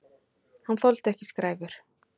Hann þoldi ekki skræfur.